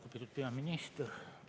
Lugupeetud peaminister!